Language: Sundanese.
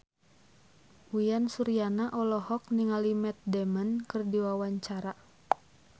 Uyan Suryana olohok ningali Matt Damon keur diwawancara